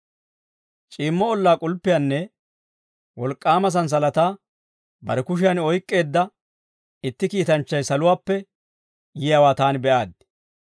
C'iimmo ollaa k'ulppiyaanne wolk'k'aama santsalataa bare kushiyan oyk'k'eedda itti kiitanchchay saluwaappe yiyaawaa taani be'aaddi.